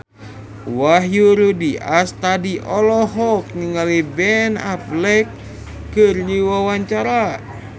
Wahyu Rudi Astadi olohok ningali Ben Affleck keur diwawancara